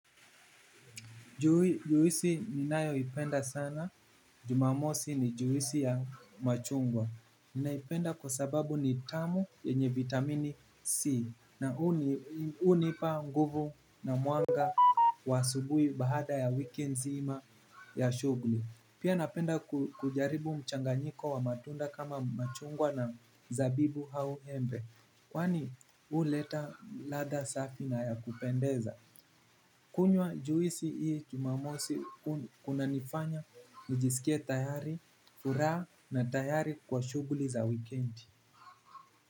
Juisi ninayo ipenda sana, jumamosi ni juisi ya machungwa ninaipenda kwa sababu ni tamu yenye vitamini C. Na hunipa nguvu na mwanga wa asubuhi baada ya wiki zima ya shughuli. Pia napenda kujaribu mchanganyiko wa matunda kama machungwa na zabibu au embe. Kwani huleta ladha safi na ya kupendeza. Kunywa juisi hii jumamosi kuna nifanya nijisikie tayari, furaha na tayari kwa shughuli za weekendi.